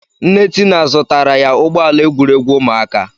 Nne Tina zụtara ya ụgbọala egwuregwu ụmụaka.